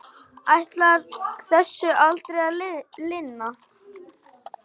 Ætlar þessu aldrei að linna?